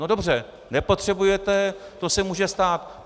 No dobře, nepotřebujete, to se může stát.